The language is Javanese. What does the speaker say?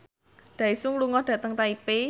Daesung lunga dhateng Taipei